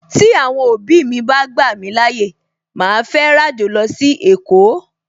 Tí Àwọn òbí mi bá gbà mí láyè, màá fẹ́ ràjò lọ sí èkó